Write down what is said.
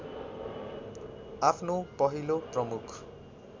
आफ्नो पहिलो प्रमुख